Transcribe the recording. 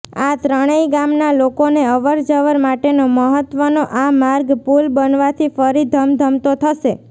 આ ત્રણેય ગામના લોકોને અવર જવર માટેનો મહત્વનો આ માર્ગ પુલ બનવાથી ફરી ધમધમતો થશે